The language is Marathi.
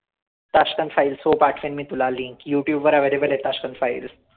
tashkent files हो पाठवेन मी तुला link youtube वर available आहे tashkent files